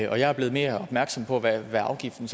jeg er blevet mere opmærksom på hvad afgiften